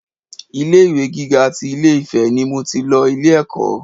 Ilé ìwé gíga tí Ilé-Ifè ni mo tì lọ ilé ẹ̀kọ́